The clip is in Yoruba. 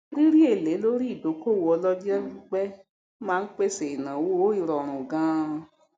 rírí èlé lorí ìdókòwò olọjọpípẹ máa n pèsè ìnáwó ìrọrùn gán